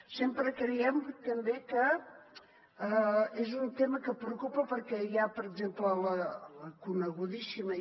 sempre creiem també que és un tema que preocupa perquè hi ha per exemple la conegudíssima